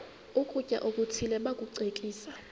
ukutya okuthile bakucekise